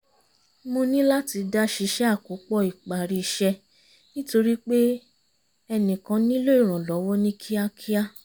mo níláti dá ṣíṣe àkópọ̀ ìparí iṣẹ́ nítorí pé ẹnìkan nílò ìrànlọ́wọ́ ní kíákíá